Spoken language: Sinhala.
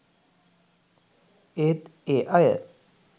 ඒත් ඒ අය